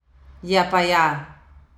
Ja, pa ja!